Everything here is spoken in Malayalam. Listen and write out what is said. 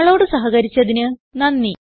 ഞങ്ങളോട് സഹകരിച്ചതിന് നന്ദി